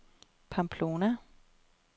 Pamplona